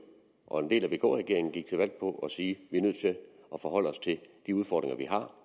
og en del af vk regeringen gik til valg på at sige at vi er nødt til at forholde os til de udfordringer